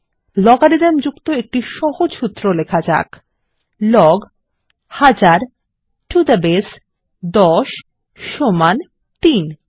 logarithm যুক্ত একটি সহজ সূত্র লখা যাক লগ ১০০০ টো থে বাসে 10 সমান 3